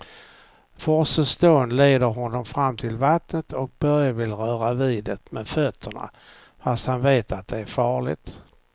Forsens dån leder honom fram till vattnet och Börje vill röra vid det med fötterna, fast han vet att det är farligt.